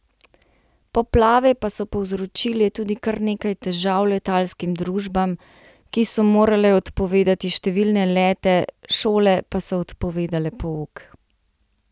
Poplave pa so povzročile tudi kar nekaj težav letalskim družbam, ki so morale odpovedati številne lete, šole pa so odpovedale pouk.